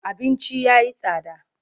Abinci ya yi tsada.